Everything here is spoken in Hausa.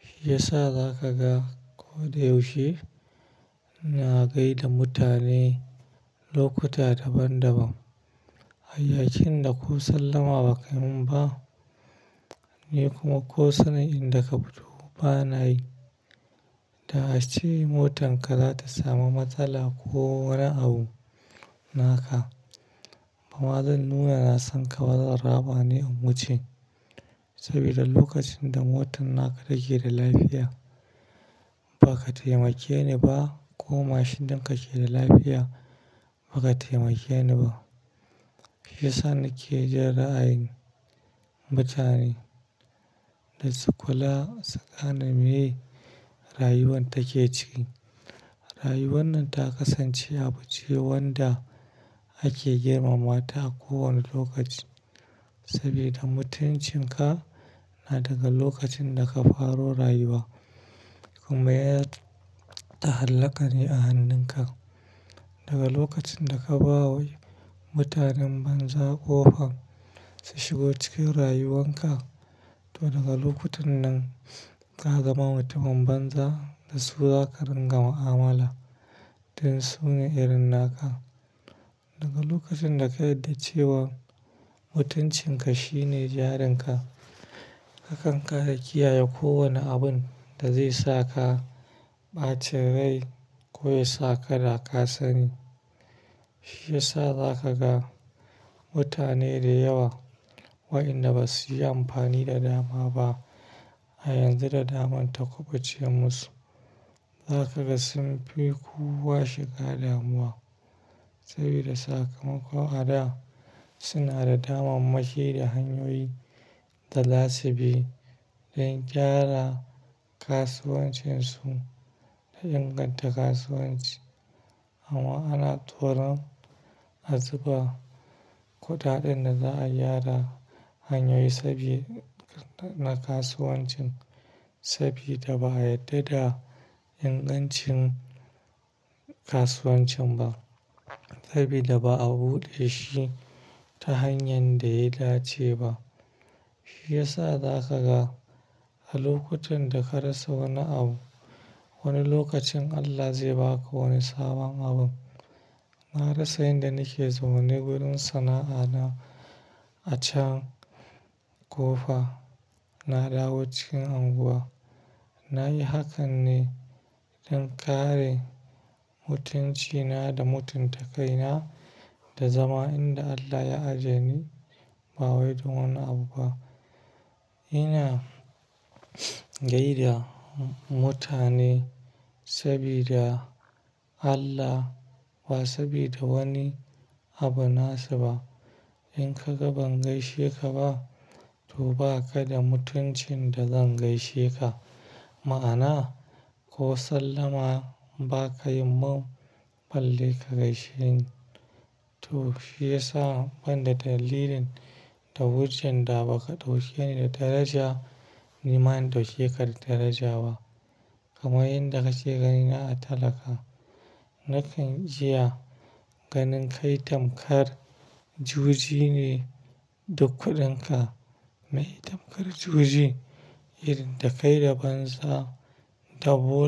Shi ya sa za ka ga koda yaushe na gaida mutane lokuta daban daban. Hayyakin da ko sallama ba kayi mun ba, ni kuma ko sanin inda ka fito ba na yi. Da ace motar ka zata samu matsala ko wani abu naka. Bama zan nuna na san ka ba zan raɓa ne na wuce. Sabida lokacin da motan naka take da lafiya, ba ka taimake ni ba ko mashin ɗinka ke da lafiya ba ka taimake ni ba. Shi yasa nake jan ra'ayin mutane da su kula su gane mai rayuwar take ciki rayuwar nan ta kasance abu ce wanda ake girmama ta a kowane lokaci. Sabida mutuncin ka na daga lokacin da ka faro rayuwa, kuma ya ta'allaka ne a hannun ka. Daga lokacin da ka ba wa mutanen banza ƙofa, su shigo cikin rayuwan ka to daga lokutan nan ka zama mutumin banza da su za ka rinƙa mu'amala don su ne irin naka. Daga lokacin da ka yarda cewa mutuncin ka shi ne jarun ka, ka kan kare, kiyaye kowane abun da zai sa ka ɓaci rai ko ya sa ka daka sani. Shi ya sa za ka ga mutane da yawa, waɗanda ba su yi amfani da dama ba a yanzu da daman ta kuɓuce musu. Za ka ga sun fi kowa shiga damuwa sabida sakamako a da suna da damammaki da hanyoyi da za subi don gyara kasuwancin su da inganta kasuwanci. Amma ana toron azuba kuɗaɗen da za'a gyara hanyoyi sabida na kasuwancin sabida ba'a yarda da ingancin kasuwancin ba sabida ba a buɗe shi ta hanyar da ya dace ba. Shi ya sa za ka ga a lokutan da ka rasa wani abu wani lokacin Allah zai ba ka wani sabon abun. Na rasa inda nake zama ne wurin sana'a na a can ƙofa na dawo cikin unguwa. Na yi hakan ne don kare mutunci na da mutunta kaina da zama inda Allah ya aje ni, ba wai dan wani abu ba. Ina gaida mutane sabida Allah ba sabida wani abu nasu ba. In kaga ban gaishe ka ba, to baka da mutuncin da zan gaishe ka ma'ana, ko sallama ba ka yi mun balle ka gaishe ni. To shi ya sa ban da dalilin da wajen da ba ka ɗauke ni da daraja ni ma in ɗauke ka da daraja ba. Kamar inda ka ke ganina a talaka. Nakan iya ganin kai tamkar juji ne duk kudinka. Tammakar juji, da kai da banza.